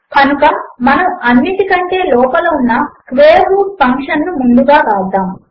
కనుక మనము అన్నిటికంటే లోపల ఉన్న స్క్వేర్ రూట్ ఫంక్షన్ ను ముందుగా వ్రాద్దాము